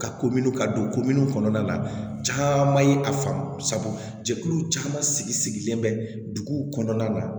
Ka ko minnu ka don ko minnu kɔnɔna na caman ye a faamu sabu jɛkulu caman sigi sigilen bɛ duguw kɔnɔna na